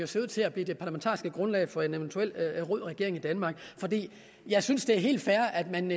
ser ud til at blive det parlamentariske grundlag for en eventuel rød regering i danmark jeg synes det er helt fair at man